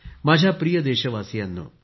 माझ्या प्रिय देशवासियांनो